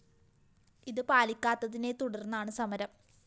ഇത് പാലിക്കാത്തതിനെ തുടര്‍ന്നാണ് സമരം